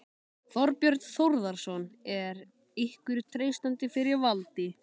Þorbjörn Þórðarson: En er ykkur treystandi fyrir valdi?